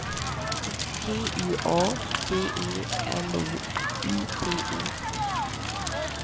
G U A D E L O U P E